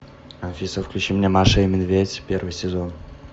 алиса включи мне маша и медведь первый сезон